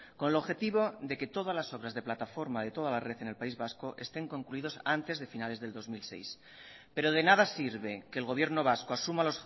con el objetivo de que todas las obras de plataforma de toda la red en el país vasco estén concluidos antes de finales del dos mil seis pero de nada sirve que el gobierno vasco asuma